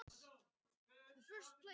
Í staðinn uppskæru þeir völd og virðingu.